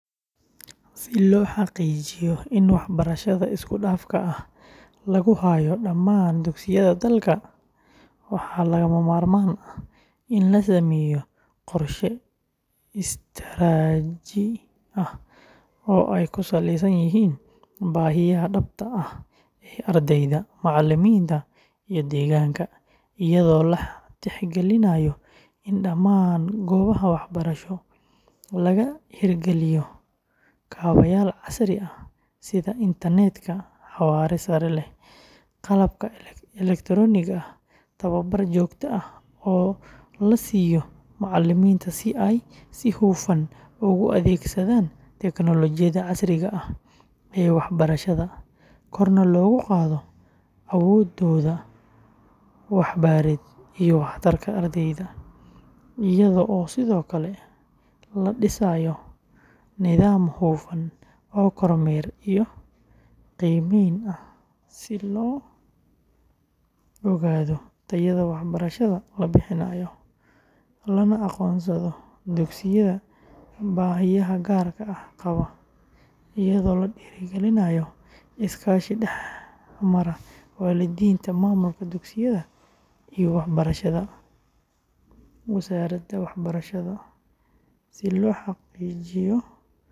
Si loo xaqiijiyo in waxbarashada isku-dhafka ah lagu hayo dhammaan dugsiyada dalka, waxaa lagama maarmaan ah in la sameeyo qorshe istaraatiiji ah oo ay ku saleysan yihiin baahiyaha dhabta ah ee ardayda, macallimiinta, iyo deegaanka, iyadoo la tixgelinayo in dhammaan goobaha waxbarasho laga hirgaliyo kaabayaal casri ah sida internetka xawaare sare leh, qalabka elektarooniga ah, tababar joogto ah oo la siiyo macallimiinta si ay si hufan ugu adeegsadaan tiknoolajiyadda casriga ah ee waxbarashada, korna loogu qaado awooddooda waxbarid iyo waxtarka ardayda, iyadoo sidoo kale la dhisayo nidaam hufan oo kormeer iyo qiimeyn ah si loo ogaado tayada waxbarashada la bixiyo, lana aqoonsado dugsiyada baahiyaha gaar ah qaba, iyadoo la dhiirrigelinayo iskaashi dhex mara waalidiinta, maamulka dugsiyada, iyo wasaaradda waxbarashada.